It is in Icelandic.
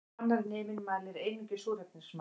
Annar neminn mælir einungis súrefnismagn